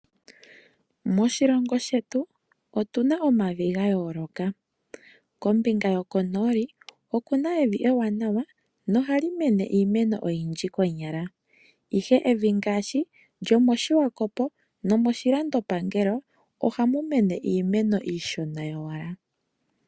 Moshilongo shetu otuna omavi gayooloka. Kombinga yokonooli okuna evi ewanawa, nohali mene iimeno oyindji konyala. Ihe evi ngaashi lyomoshiwakopo, nomoshilandopangelo, ohamu mene iimeno iishona yowala.